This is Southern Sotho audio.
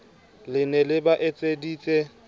le ne le ba etseditse